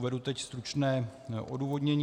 Uvedu teď stručné odůvodnění.